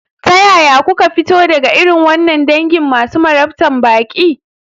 Ta yaya kuka fito daga irin wannan dangin masu marabtan baƙi?